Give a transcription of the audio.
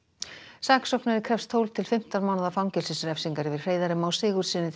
saksóknari krefst tólf til fimmtán mánaða fangelsisrefsingar yfir Hreiðari Má Sigurðssyni til